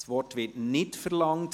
– Das Wort wird nicht verlangt.